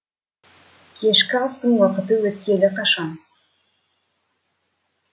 кешкі астың уақыты өткелі қашан